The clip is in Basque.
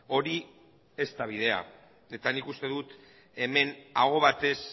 hori ez da bidea eta nik uste dut hemen aho batez